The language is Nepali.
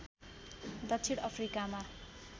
दक्षिण अफ्रिकामा